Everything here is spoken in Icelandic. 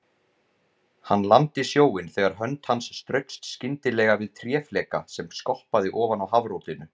Hann lamdi sjóinn þegar hönd hans straukst skyndilega við tréfleka sem skoppaði ofan á hafrótinu.